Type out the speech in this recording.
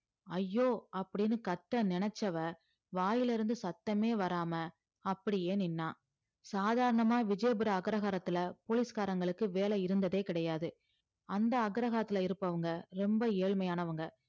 ஐயோ அப்படீன்னு கத்த நினைச்சவ வாயிலிருந்து சத்தமே வராம அப்படியே நின்னா சாதாரணமா விஜயபுர அக்ரஹாரத்துல போலீஸ்காரங்களுக்கு வேல இருந்ததே கிடையாது அந்த அக்ரஹாரத்துல இருப்பவங்க ரொம்ப ஏழ்மையானவங்க